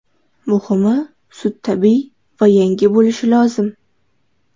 Muhimi sut tabiiy va yangi bo‘lishi lozim.